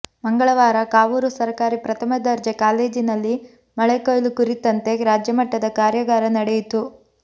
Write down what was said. ಮಂಗಳವಾರ ಕಾವೂರು ಸರಕಾರಿ ಪ್ರಥಮ ದರ್ಜೆ ಕಾಲೇಜಿನಲ್ಲಿ ಮಳೆಕೊಯ್ಲು ಕುರಿತಂತೆ ರಾಜ್ಯಮಟ್ಟದ ಕಾರ್ಯಾಗಾರ ನಡೆಯಿತು